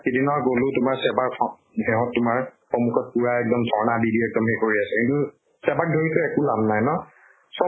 সিদিনা গলো তোমাৰ SEBA ৰ form সেহঁত তোমাৰ সন্মূখত পুৰা এক্দম ধৰ্ণা দি দি এক্দম সেই কৰি আছে। SEBA ক ধৰিটো একো লাভ নাই ন? চব